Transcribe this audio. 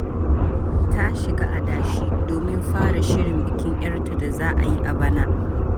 Ta shiga adashi domin fara shirin bikin ‘yarta da za a yi a bana.